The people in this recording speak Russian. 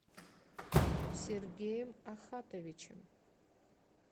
сергеем ахатовичем